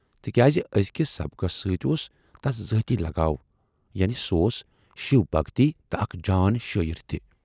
تِکیازِ ٲزۍکِس سبقَس سۭتۍ اوس تَس ذٲتی لگاو، یعنے سُہ اوس شِو بھکٕتۍ تہٕ اکھ جان شٲعِر تہِ۔